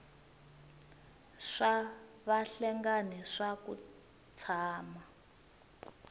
swa vahlengani swa ku tshama